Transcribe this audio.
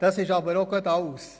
Das ist aber auch gerade alles.